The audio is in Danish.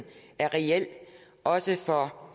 er reel også for